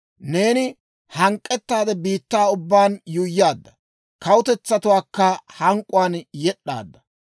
Neeni hank'k'ettaade biittaa ubbaan yuuyyaadda; kawutetsatuwaakka hank'k'uwaan yed'd'aadda.